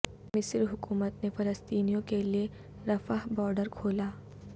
مصر حکومت نے فلسطینیوں کے لئے رفح بارڈر کھولا